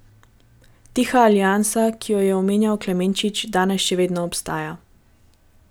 Tiha aliansa, ki jo je omenjal Klemenčič, danes še vedno obstaja.